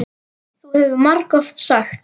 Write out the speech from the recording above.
Það hefur þú margoft sagt.